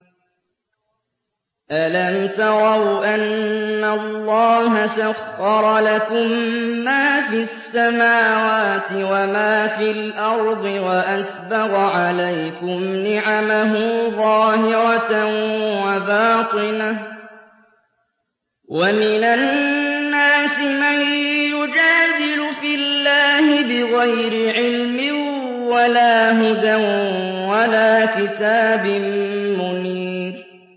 أَلَمْ تَرَوْا أَنَّ اللَّهَ سَخَّرَ لَكُم مَّا فِي السَّمَاوَاتِ وَمَا فِي الْأَرْضِ وَأَسْبَغَ عَلَيْكُمْ نِعَمَهُ ظَاهِرَةً وَبَاطِنَةً ۗ وَمِنَ النَّاسِ مَن يُجَادِلُ فِي اللَّهِ بِغَيْرِ عِلْمٍ وَلَا هُدًى وَلَا كِتَابٍ مُّنِيرٍ